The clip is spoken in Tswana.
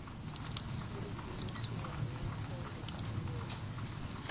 e e dirisiwang go lekanyetsa